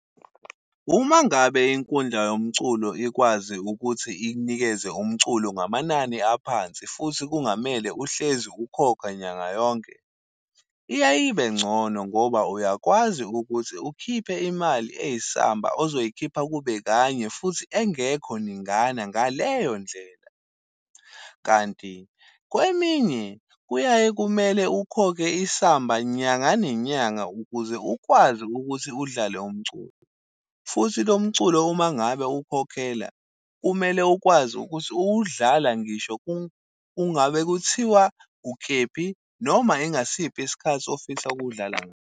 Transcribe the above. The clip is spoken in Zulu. Uma ngabe inkundla yomculo ikwazi ukuthi ikunikeze umculo ngamanani aphansi, futhi kungamele uhlezi ukhokha nyanga yonke, iyaye ibe ngcono ngoba uyakwazi ukuthi ukhiphe imali eyisamba ozoyikhipha kube kanye futhi engekho ningana ngaleyo ndlela. Kanti kweminye kuyaye kumele ukhokhe isamba nyanga nenyanga ukuze ukwazi ukuthi udlale umculo. Futhi lo mculo uma ngabe uwukhokhela, kumele ukwazi ukuthi uwudlala ngisho ungabe kuthiwa ukephi noma ingasiphi isikhathi ofisa ukuwudla.